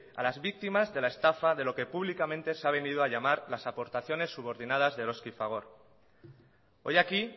a las víctimas de la estafa de lo que públicamente se a venido a llamar las aportaciones subordinadas de eroski y fagor hoy aquí